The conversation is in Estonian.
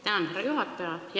Tänan, härra juhataja!